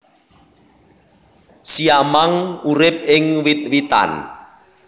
Siamang urip ing wit witan